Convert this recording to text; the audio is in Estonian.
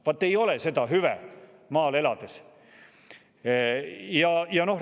Vaat ei ole seda hüve maal elades!